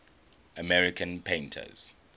american painters